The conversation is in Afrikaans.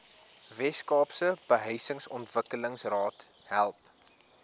weskaapse behuisingsontwikkelingsraad help